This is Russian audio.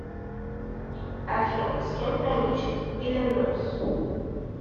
афина с кем граничит иллинойс